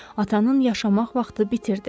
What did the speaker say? Atanın yaşamaq vaxtı bitirdi.